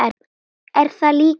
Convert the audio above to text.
Er það líklegt?